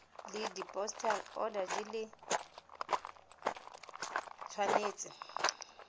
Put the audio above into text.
le dipostal order di tshwanetse